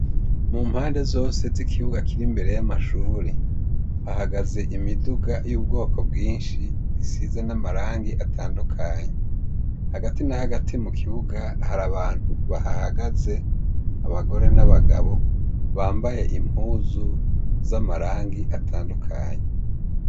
Mu mpande zose z' ikibuga kiri imbere ' amashure hahagaze imiduga y'ubwoko bwinshi isize n' amarangi atandukanye hagati na hagati mu kibuga hari abantu bahahagaze abagore n' abagabo bambaye impuzu z' amarangi atandukanye.